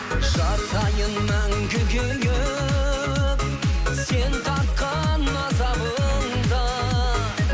жатайын мәңгі күйіп сен тартқан азабыңда